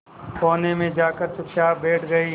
कोने में जाकर चुपचाप बैठ गई